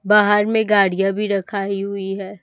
बाहर में गाड़ियां भी रखाई हुई है।